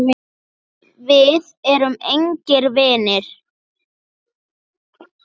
Við erum engir vinir.